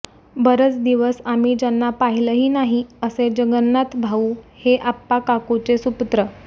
बरेच दिवस आम्ही ज्यांना पाहिलंही नाही असे जगन्नाथभाऊ हे आप्पा काकूचे सुपुत्र